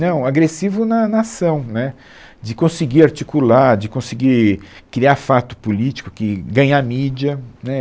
Não, agressivo na na ação, né, de conseguir articular, de conseguir criar fato político, que ganhar mídia, né